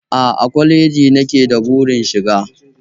A'a, kwaleji nake da burin shiga